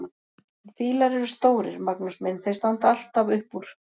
En fílar eru stórir, Magnús minn, þeir standa alltaf upp úr!